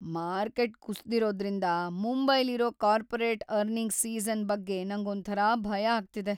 Market ಕುಸ್ದಿರೋದ್ರಿಂದ ಮುಂಬರ್ಲಿರೋ corporate earnings season ಬಗ್ಗೆ ನಂಗ್ ಒಂಥರ ಭಯ ಆಗ್ತಿದೆ.